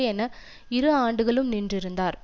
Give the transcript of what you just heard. என இரு ஆண்டுகளும் நின்றிருந்தார்